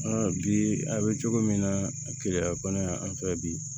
bi a bɛ cogo min na keleya bana y'an fɛ bi